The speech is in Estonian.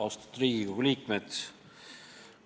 Austatud Riigikogu liikmed!